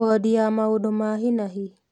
Wondi ya maũndũ ma hi na hi